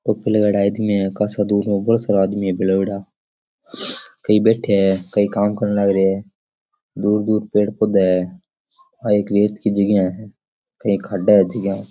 टोपी लगाएड़ा आदमी है कासाबोला सारा आदमी है भेला होयेडा कई बैठे है कई काम करन लाग रहे है दूर दूर पेड़ पौधे है आ एक रेत की जगा है एक खाड़ा है जीका --